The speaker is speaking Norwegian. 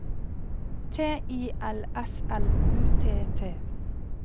T I L S L U T T